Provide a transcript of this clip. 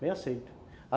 Bem aceito.